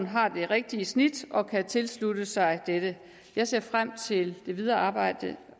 har det rigtige snit og kan tilslutte sig det jeg ser frem til det videre arbejde